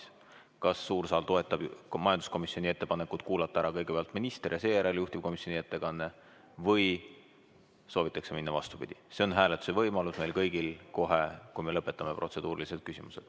Seda, kas suur saal toetab majanduskomisjoni ettepanekut kuulata ära kõigepealt minister ja seejärel juhtivkomisjoni ettekandja või soovitakse minna vastupidi, on meil kõigil võimalik hääletada kohe, kui lõpetame protseduurilised küsimused.